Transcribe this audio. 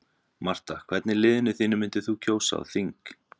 Marta Hvern í liðinu þínu myndir þú kjósa á þing?